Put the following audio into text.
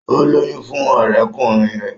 O lóyún fún ọrẹkunrin rẹ.